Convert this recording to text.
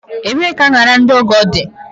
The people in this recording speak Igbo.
Ebee ka añara ndị ọgọ dị?